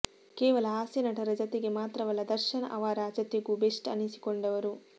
ಕೇವಲ ಹಾಸ್ಯ ನಟರ ಜತೆಗೆ ಮಾತ್ರವಲ್ಲ ದರ್ಶನ್ ಅವರ ಜತೆಗೂ ಬೆಸ್ಟ್ ಅನಿಸಿಕೊಂಡವರು